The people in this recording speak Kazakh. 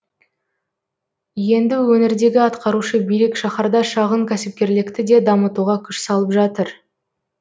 енді өңірдегі атқарушы билік шаһарда шағын кәсіпкерлікті де дамытуға күш салып жатыр